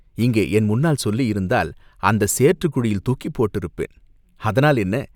"இங்கே என் முன்னால் சொல்லியிருந்தால் அந்தச் சேற்றுக் குழியில் தூக்கிப் போட்டிருப்பேன்." "அதனால் என்ன?